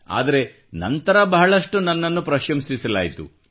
ಆದರೆ ನಂತರ ಬಹಳಷ್ಟು ನನ್ನನ್ನು ಪ್ರಶಂಸಿಸಲಾಯಿತು